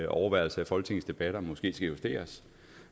overværelse af folketingets debatter måske skal justeres